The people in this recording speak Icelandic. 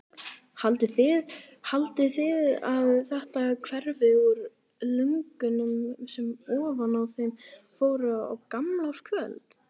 Haldið þið að þetta hverfi úr lungunum sem ofan í þau fór á gamlárskvöld?